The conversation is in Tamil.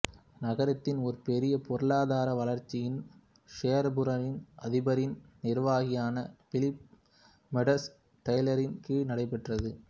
நகரத்தின் ஒரு பெரிய பொருளாதார வளர்ச்சி ஷோராபூரின் அதிபரின் நிர்வாகியான பிலிப் மெடோஸ் டெய்லரின் கீழ் நடைப்பெற்றது